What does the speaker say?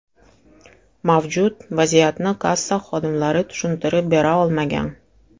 Mavjud vaziyatni kassa xodimlari tushuntirib bera olmagan.